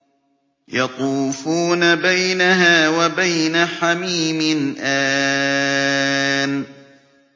يَطُوفُونَ بَيْنَهَا وَبَيْنَ حَمِيمٍ آنٍ